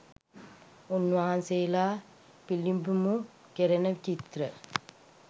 උන් වහන්සේලා පිළිඹිඹු කෙරෙන චිත්‍ර